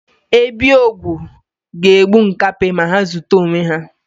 Ebi ogwu ga-egbu nkapi ma ha ozute onwe ha.